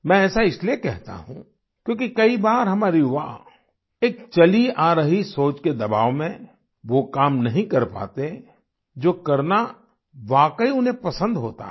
मैं ऐसा इसलिए कहता हूँ क्योंकि कई बार हमारे युवा एक चली आ रही सोच के दबाव में वो काम नहीं कर पाते जो करना वाकई उन्हें पसंद होता है